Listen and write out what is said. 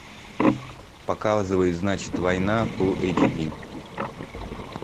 показывай значит война фулл эйч ди